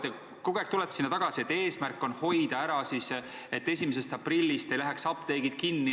Te kogu aeg rõhutate, et eesmärk on hoida ära, et 1. aprillist ei läheks apteegid kinni.